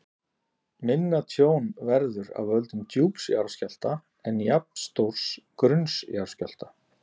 Minna tjón verður af völdum djúps skjálfta en jafnstórs grunns skjálfta.